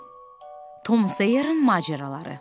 Tom Sawyerin macəraları.